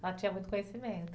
Ela tinha muito conhecimento.